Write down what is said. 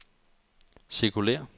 cirkulér